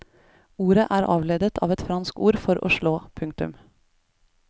Ordet er avledet av et fransk ord for å slå. punktum